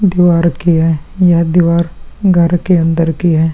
दिवार की है ये दिवार घर के अंदर की है ।